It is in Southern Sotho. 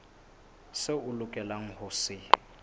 seo o lokelang ho se